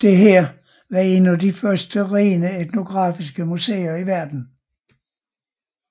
Dette var et af de første rene etnografiske museer i verden